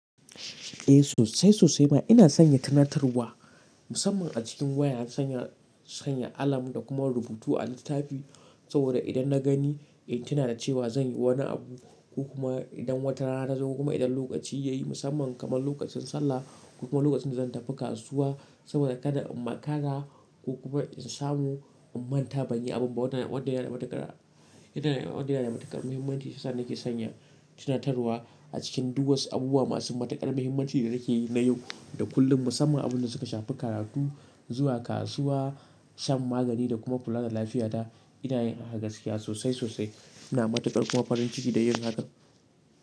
Eh sosai sosai ma ina sanya tunatarwa musamman a cikin waya sanya, sanya alarm da kuma rubutu a littafi saboda idan na gani in tuna da cewa zan yi wani abu ko kuma idan wata rana ta zo kuma idan lokaci ya yi musamman kamar lokacin sallah ko kuma lokacin da zan tafi kasuwa saboda kada in makara ko kuma in samu in manta ban yi abun ba wadannan, wadannan matakara, ita na ne wadannan matakaran muhimmanci sasa nake sanya tunatarwa a cikin duk wasu abubuwa masu matakara muhimmanci da nake yi na yau da kullum musamman abun da suka shafi karatu, zuwa kasuwa, shan magani da kuma kula da lafiyata ina yin haka gaskiya sosai sosai ina matakar kuma farin ciki da yin haka.